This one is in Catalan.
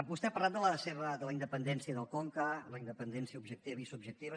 vostè ha parlat de la independència del conca la independència objectiva i subjectiva